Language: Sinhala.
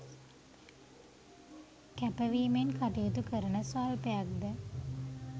කැපවීමෙන් කටයුතු කරන ස්වල්පයක් ද